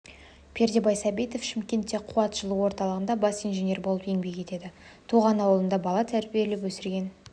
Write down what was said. пердебай сәбитов шымкентте қуат жылу орталығында бас инженер болып еңбек етеді туған ауылында бала тәрбиелеп өсірген